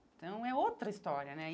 Então é outra história, né?